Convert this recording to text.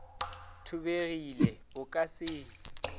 thubegile o ka se e